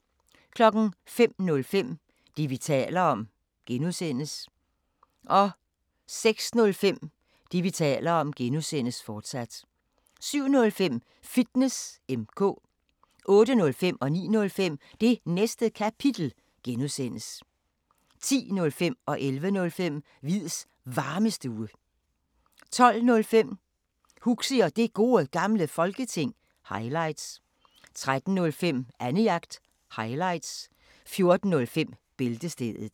05:05: Det, vi taler om (G) 06:05: Det, vi taler om (G), fortsat 07:05: Fitness M/K 08:05: Det Næste Kapitel (G) 09:05: Det Næste Kapitel (G) 10:05: Hviids Varmestue 11:05: Hviids Varmestue 12:05: Huxi og Det Gode Gamle Folketing – highlights 13:05: Annejagt – highlights 14:05: Bæltestedet